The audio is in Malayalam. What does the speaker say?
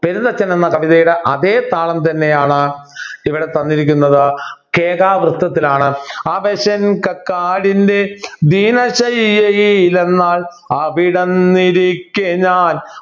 പെരുന്തച്ചൻ എന്ന കവിതയിലെ അതേ താളം തന്നെയാണ് ഇവിടെ തന്നിരിക്കുന്നത് കേകാവൃത്തത്തിലാണ് അവശൻ കക്കാടിൻ്റെ ദീനശയ്യയിലന്നാൾ അവിടന്നിരിക്കെ ഞാൻ